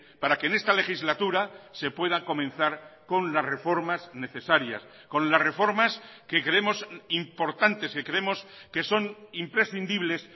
para que en esta legislatura se pueda comenzar con las reformas necesarias con las reformas que creemos importantes que creemos que son imprescindibles